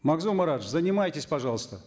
магзум маратович занимайтесь пожалуйста